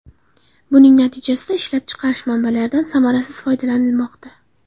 Buning natijasida ishlab chiqarish manbalardan samarasiz foydalanilmoqda.